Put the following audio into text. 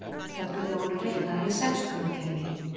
Töflurnar voru reiknaðar í sextugakerfi.